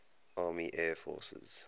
army air forces